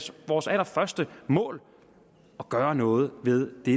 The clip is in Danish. vores allerførste mål at gøre noget ved det